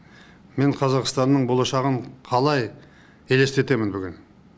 мен қазақстанның болашағын қалай елестетемін бүгін